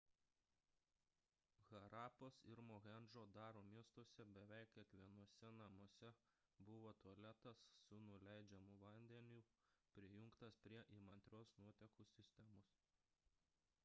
harapos ir mohendžo daro miestuose beveik kiekvienuose namuose buvo tualetas su nuleidžiamu vandeniu prijungtas prie įmantrios nuotekų sistemos